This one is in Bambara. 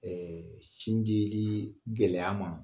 sin jilii gɛlɛya ma